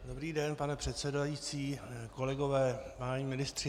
Dobrý den, pane předsedající, kolegové, páni ministři.